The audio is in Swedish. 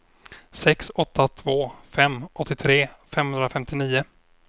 sex åtta två fem åttiotre femhundrafemtionio